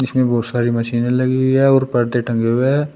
यहां बहुत सारी मशीने लगी हुई है और पर्दे टंगे हुए हैं।